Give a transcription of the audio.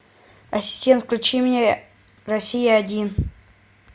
ассистент включи мне россия один